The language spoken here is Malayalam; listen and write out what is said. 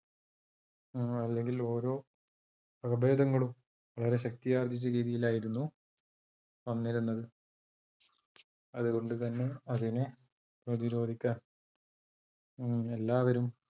അല്ലെങ്കിൽ ഓരോ വകഭേദങ്ങളും ഏറെ ശക്തി ആർജിച്ച രീതിയിലായിരുന്നു വന്നിരുന്നത്, അതുകൊണ്ട് തന്നെ അതിനെ പ്രതിരോധിക്കാൻ എല്ലാവരും -